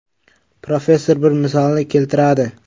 Professor bir misolni keltiradi.